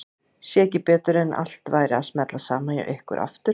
Sá ekki betur en að allt væri að smella saman hjá ykkur aftur.